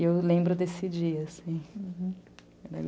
E eu lembro desse dia, assim.